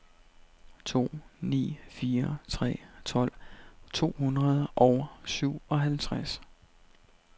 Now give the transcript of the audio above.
to ni fire tre tolv to hundrede og syvoghalvtreds